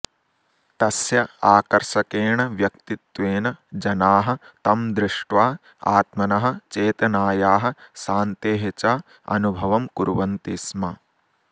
तस्य आकर्षकेण व्यक्तित्वेन जनाः तं दृष्ट्वा आत्मनः चेतनायाः शान्तेः च अनुभवं कुर्वन्ति स्म